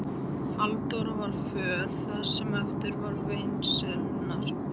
Halldóra var föl það sem eftir var veislunnar.